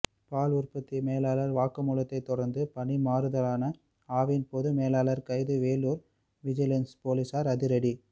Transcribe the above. பால் உற்பத்தி மேலாளர் வாக்குமூலத்தை தொடர்ந்து பணி மாறுதலான ஆவின் பொதுமேலாளர் கைது வேலூர் விஜிலென்ஸ் போலீசார் அதிரடி